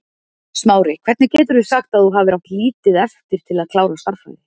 Smári, hvernig getur þú sagt að þú hafir átt lítið eftir til að klára stærðfræði?